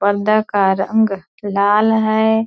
पर्दा का रंग लाल है ।